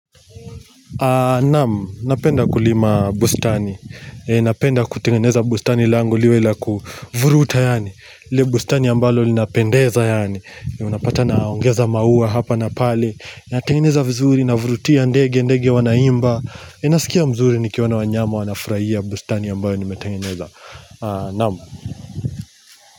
Naam. Napenda kulima bustani. Napenda kutengeneza bustani lango liwe la kuvuruta yaani. Ile bustani ambalo linapendeza yaani. Unapata na ongeza maua hapa na pale. Natengeneza vizuri na navurutia ndege ndege wanaimba. Nasikia mzuri nikiwona wanyama wanafurahia bustani ambayo nimetengeneza. Naam.